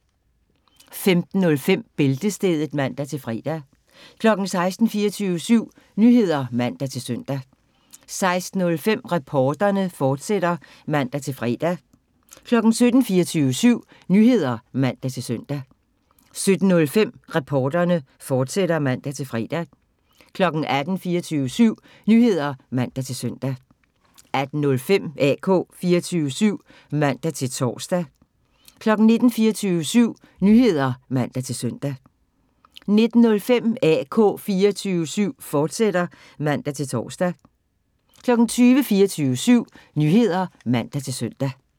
15:05: Bæltestedet (man-fre) 16:00: 24syv Nyheder (man-søn) 16:05: Reporterne, fortsat (man-fre) 17:00: 24syv Nyheder (man-søn) 17:05: Reporterne, fortsat (man-fre) 18:00: 24syv Nyheder (man-søn) 18:05: AK 24syv (man-tor) 19:00: 24syv Nyheder (man-søn) 19:05: AK 24syv, fortsat (man-tor) 20:00: 24syv Nyheder (man-søn)